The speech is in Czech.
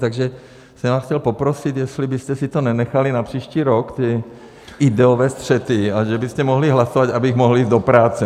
Takže jsem vás chtěl poprosit, jestli byste si to nenechali na příští rok, ty ideové střety, a že byste mohli hlasovat, abych mohl jít do práce!